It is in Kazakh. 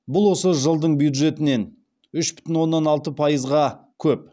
бұл осы жылдың бюджетінен үш бүтін оннан алты пайызға көп